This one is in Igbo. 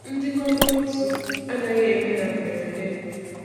Ndịkọ notu anaghị eme na mberede.